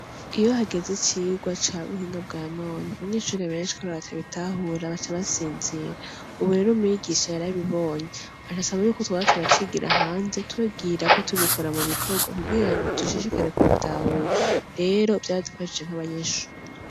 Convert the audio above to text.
Iyo hageze icigwa cabuhinga bwa none abanyeshure benshi kubera batabitahura baca basinzira ubu rero mwigisha yarabibonye aca asaba yuko twoza turacigira hanze atubwira ko turiko tubikora mu bikorwa kugirango dushishikare kubitahura rero vyaradufashije nkabanyeshure.